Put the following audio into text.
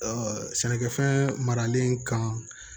sɛnɛkɛfɛn maralen kan